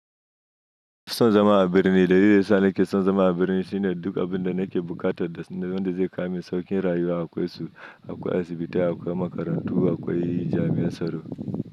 Kison zama a birni, dalilin da ya sa na ke son zama a birni shine duk abin da na ke bukata da wanda zai kama sauƙin rayuwa akwai su, akwai asibitai, akwai makarantu, akwai jami'ar tsaro.